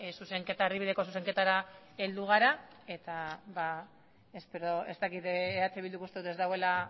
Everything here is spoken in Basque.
erdibideko zuzenketara heldu gara eta eh bilduk uste dut ez duela